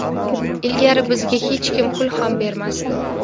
Ilgari bizga hech kim pul ham bermasdi.